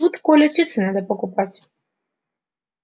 тут коле часы надо покупать